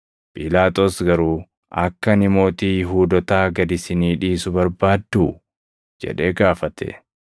Phiilaaxoos garuu, “Akka ani mootii Yihuudootaa gad isinii dhiisu barbaadduu?” jedhee gaafate;